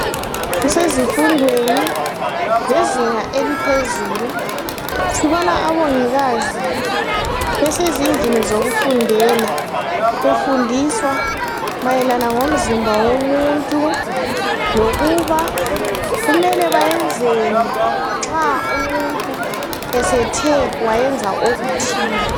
Kusezifundweni zezinga eliphezulu, sibona omongikazi besezindlini lokufundela, befundiswa mayelana ngomzimba womuntu. Lokuba bayazenzeni nxa umuntu esethe wayenza okuthile.